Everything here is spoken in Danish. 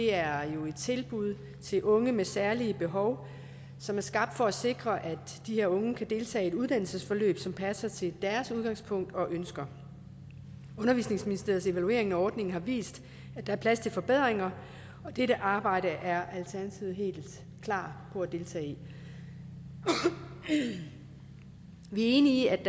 er jo et tilbud til unge med særlige behov som er skabt for at sikre at de her unge kan deltage i et uddannelsesforløb som passer til deres udgangspunkt og ønsker undervisningsministeriets evaluering af ordningen har vist at der er plads til forbedringer og dette arbejde er alternativet helt klar på at deltage i vi er enige